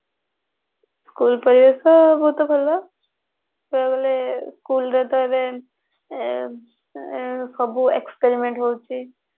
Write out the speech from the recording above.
school ପରିବେଶ ବହୁତ ଭଲ ହେଲେ school ରେ ତ ଏବେ ଆଁ ସବୁ experiment ହଉଛି